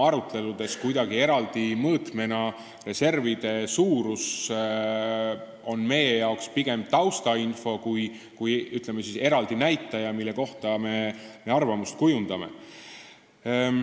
Aruteludes on reservide suurus eraldi mõõtmena meie jaoks pigem taustainfo kui eraldi näitaja, mille kohta me arvamust kujundame.